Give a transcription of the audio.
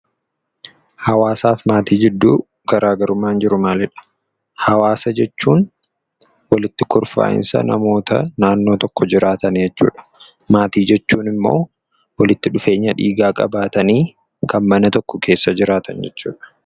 Hawaasaa fi Maatii jidduu garaagarummaan jiru maalidha? Hawwasa jechuun walitti kurfaa'insa namoota naannoo tokko jiraatan jechuudha. Maatii jechuun immoo walitti dhufeenya dhiigaa qabaatanii kan mana tokko keessa jiraatan jechuudha.